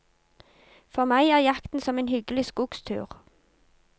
For meg er jakten som en hyggelig skogstur.